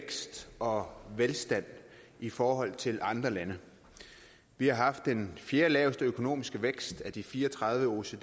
vækst og velstand i forhold til andre lande vi har haft den fjerdelaveste økonomiske vækst af de fire og tredive oecd